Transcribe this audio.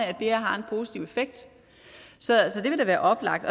at det her har en positiv effekt så det vil da være oplagt